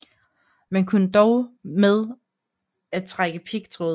Man kunne dog med at trække pigtråd